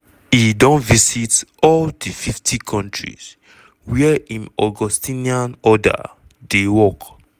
"e don visit all di 50 kontris wia im augustinian order dey work.